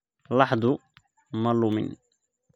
Laxdu ma lumin